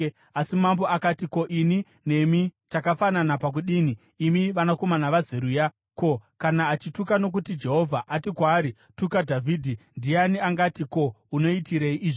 Asi mambo akati, “Ko, ini nemi takafanana pakudii, imi vanakomana vaZeruya? Ko, kana achituka nokuti Jehovha ati kwaari, ‘Tuka Dhavhidhi,’ ndiani angati, ‘Ko, unoitirei izvi?’ ”